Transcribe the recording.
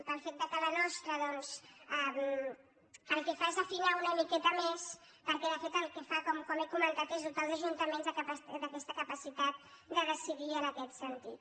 pel fet que la nostra doncs el que fa és afinar una miqueta més perquè de fet el que fa com he comentat és dotar els ajuntaments d’aquesta capacitat de decidir en aquest sentit